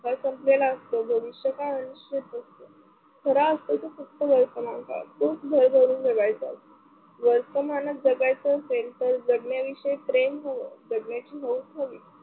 संपलेला असतो भविष्यकाळ आयुष्यात असतो. खराअसतो तो फक्त वर्तमानकळ भरभरून जगायचा असतो. वर्तमानात जगायच असेल तर जगण्यात प्रेम हाव जगण्याची हौस हवी.